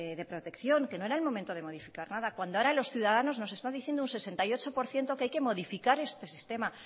de protección que no era el momento de modificar nada cuando ahora los ciudadanos nos está diciendo un sesenta y ocho por ciento que hay que modificar este sistema